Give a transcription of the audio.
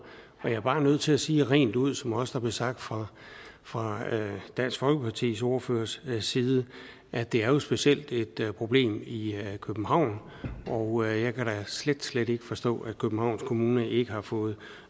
jeg er bare nødt til at sige rent ud som det også blev sagt fra fra dansk folkepartis ordførers side at det jo specielt er et problem i københavn og jeg kan da slet slet ikke forstå at københavns kommune ikke har fået